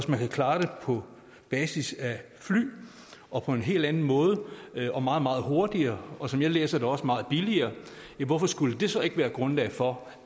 man kan klare det på basis af fly og på en helt anden måde og meget meget hurtigere og sådan som jeg læser det også meget billigere hvorfor skulle det så ikke være grundlag for